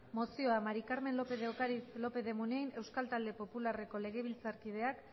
mozioa maría del carmen lópez de ocariz lópez de munain euskal talde popularreko legebiltzarkideak